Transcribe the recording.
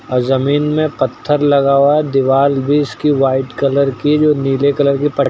औऱ ज़मीन में पत्थर लगा हुआ है। दीवाल भी इसकी व्हाइट कलर की है जो नीले कलर की पट् --